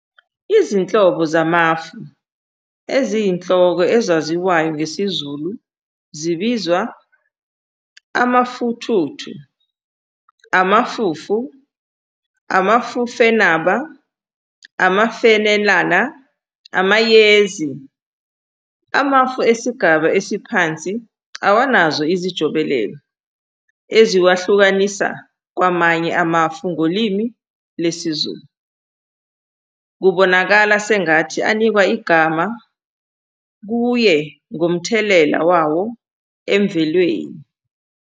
Izinhlobo zamafu eziyinhloko ezaziwayo ngesiZulu zibizwa - amafuthuthu, amafufu, amafufenaba, amafenala, amayezi. Amafu esigaba esiphansi awanazo izijobelelo eziwahlukanisa kwamanye amafu ngolimi lesiZulu, kubonakala sengathi anikwa igama kuye ngomthelela wawo emvelweni.